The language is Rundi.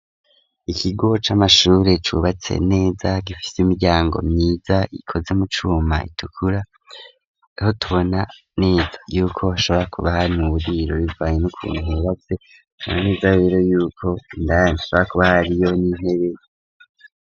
Ikigo c'amashuri cubatse neza gifise imiryango myiza ikoze mu cuma itukura ho tubona neza yuko ashobora kubaha n'uburiro bivanye n'ukuntu hubatse neza rero yuko indani kuba hariyo n'intebe.